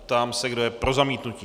Ptám se, kdo je pro zamítnutí.